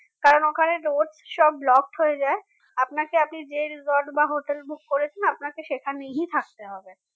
কারণ ওখানে road সব blocked হয়ে যায় আপনাকে আপনি যে lodge বা hotel book করেছেন আপনাকে সেখানেই থাকতে হবে